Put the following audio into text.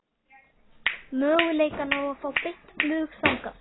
Möguleikana á að fá beint flug þangað?